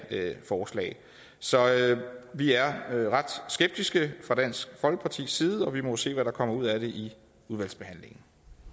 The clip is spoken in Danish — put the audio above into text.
forslag så vi er er ret skeptiske fra dansk folkepartis side og vi må jo se hvad der kommer ud af det i udvalgsbehandlingen